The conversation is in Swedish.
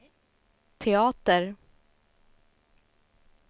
teater